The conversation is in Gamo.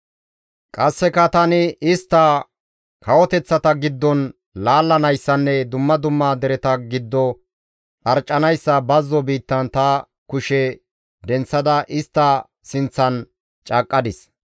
Qasseka tani istta kawoteththata giddon laallanayssanne dumma dumma dereta giddo dharccanayssa bazzo biittan ta kushe denththada istta sinththan caaqqadis.